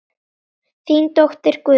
Þín dóttir Guðrún.